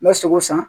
N bɛ sogo san